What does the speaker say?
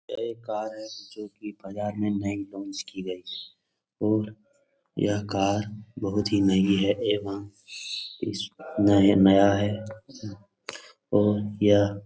यह एक कार है जो कि बाजार में लॉन्च की गई है और यह कार बहुत ही नई है एवं इस नय नया है और यह. --